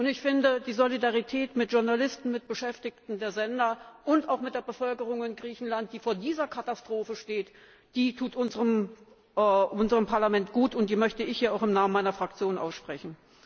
Ich finde, die Solidarität mit Journalisten, mit Beschäftigten der Sender und auch mit der Bevölkerung in Griechenland, die vor dieser Katastrophe steht, tut unserem Parlament gut, und die möchte ich hier auch im Namen meiner Fraktion aussprechen.